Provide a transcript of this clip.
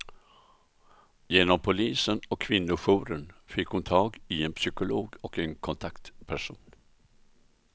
Genom polisen och kvinnojouren fick hon tag i en psykolog och en kontaktperson.